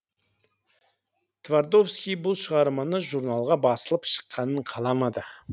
твардовский бұл шығарманы журналға басылып шыққанын қаламады